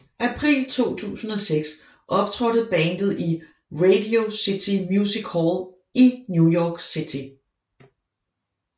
April 2006 optrådte bandet i Radio City Music Hall i New York City